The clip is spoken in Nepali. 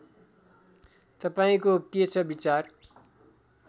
तपाईँको के छ विचार